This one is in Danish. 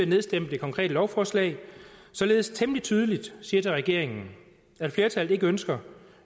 nedstemme det konkrete lovforslag således temmelig tydeligt siger til regeringen at flertallet ikke ønsker